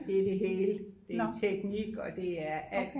det er det hele det er teknik og det er alt